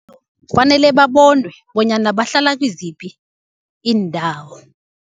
Kufanele babonwe bonyana bahlala kiziphi iindawo.